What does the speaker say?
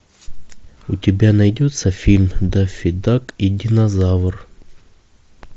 у тебя найдется фильм даффи дак и динозавр